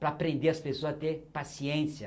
Para aprender as pessoas a ter paciência.